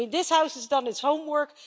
This House has done its homework.